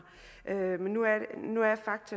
sagt